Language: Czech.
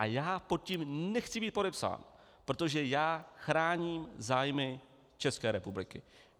A já pod tím nechci být podepsán, protože já chráním zájmy České republiky.